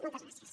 moltes gràcies